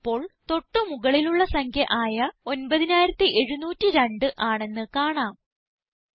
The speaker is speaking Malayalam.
ഫലം ഇപ്പോൾ തൊട്ട് മുകളിലുള്ള സംഖ്യ ആയ 9702 ആണെന്ന് കാണാം